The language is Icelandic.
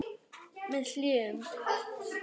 Með hléum.